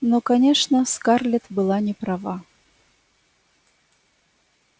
но конечно скарлетт была не права